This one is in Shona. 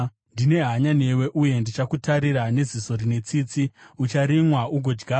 Ndine hanya newe uye ndichakutarira neziso rine tsitsi; ucharimwa ugodyarwa,